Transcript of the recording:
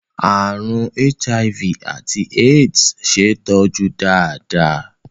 Àrùn HIV àti AIDS ṣe é tọ́jú dáadáa.